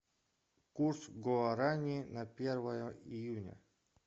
курс гуарани на первое июня